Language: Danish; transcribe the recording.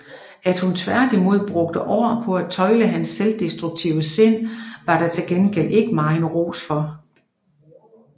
At hun tværtimod brugte år på at tøjle hans selvdestruktive sind var der til gengæld ikke megen ros for